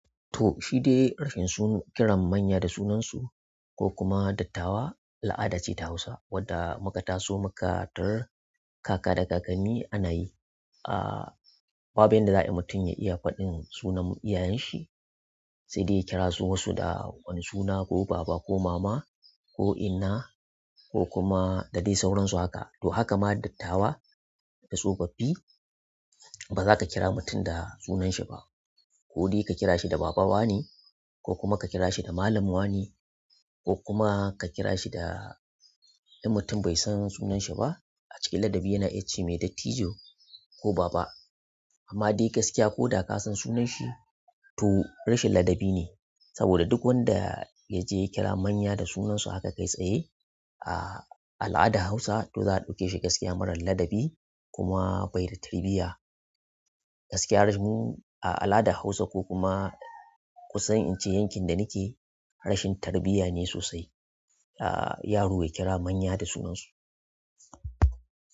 To shi dai rashin kiran manya da sunansu ko kuma dattawa al'ada ce ta Hausa wadda muka taso muka tarar kaka da kakanni ana yi. Babu yanda za'ayi mutum ya iya faɗin sunan iyayen shi se dai ya kira su da wasu suna ko baba ko mama ko inna da dai sauransu haka to haka ma dattawa da tsofaffi ba za ka kira mutum da sunan shi ba ko dai ka kira shi da baba wane ko kuma ka kira shi da malam wane ko kuma ka kira shi da in mutum bai san sunan shi ba a cikin ladabi yana iya ce mai dattijo ko baba. Amma dai gaskiya ko da kasan sunan shi to rashin ladabi ne saboda duk wanda yaje ya kira manya da sunan su haka kai tsaye a al'adar hausa to za'a ɗauke shi gaskiya mara ladabi kuma be da tarbiyya. Gaskiya a al'adar Hausa ko kuma kusan in ce yankin da ni ke rashin tarbiyya ne sosai yaro ya kira manya da sunansu.